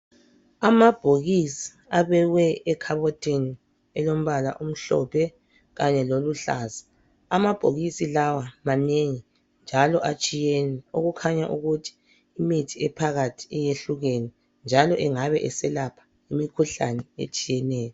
Amabhokisi abekwe ekhabothini elombala omhlophe kanye loluhlaza, amabhokisi lawa manengi njalo atshiyene okukhanya ukuthi imithi ephakathi iyehlukene njalo engabe eselapha imikhuhlane etshiyeneyo.